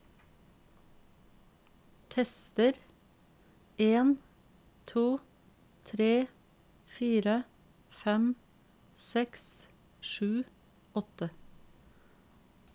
Tester en to tre fire fem seks sju åtte